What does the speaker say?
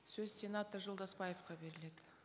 сөз сенатор жолдасбаевқа беріледі